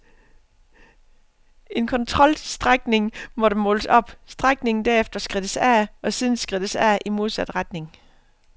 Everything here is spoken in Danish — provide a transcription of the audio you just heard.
En kontrolstrækning måtte måles op, strækningen derefter skridtes af og siden skridtes af i modsat retning.